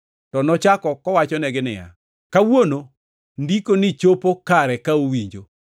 to nochako kowachonegi niya, “Kawuono ndikoni chopo kare ka uwinjo.”